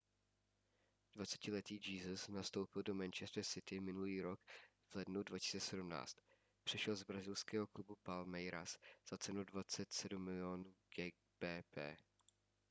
21letý jesus nastoupil do manchester city minulý rok v lednu 2017. přešel z brazilského klubu palmeiras za cenu 27 mil. gbp